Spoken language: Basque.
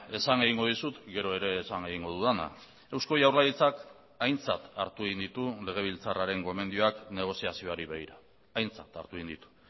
esan egingo dizut gero ere esan egingo dudana eusko jaurlaritzak aintzat hartu egin ditu legebiltzarraren gomendioak negoziazioari begira aintzat hartu egin ditu